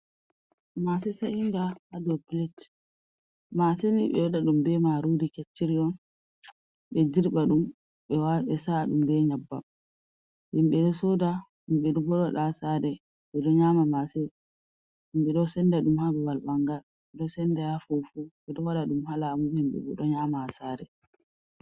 Mase seinga ha do plat, maseni be wada ɗum be maruri kecciriy on, be dirba ɗum be sa’a ɗum be nyab bam, himɓe ɗo soda, himbe ɗo waɗa ɗom ha sare, ɗe do nyama masen, himɓe ɗo senda ɗum ha ba bal ɓangal, ɗo senda ha fufu, be ɗo wada dum ha lamu, himɓe do nyama ha sare.